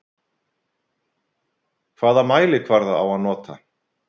Hvaða mælikvarða á að nota?